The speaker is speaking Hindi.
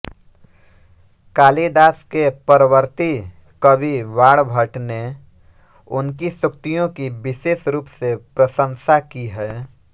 कालिदास के परवर्ती कवि बाणभट्ट ने उनकी सूक्तियों की विशेष रूप से प्रशंसा की है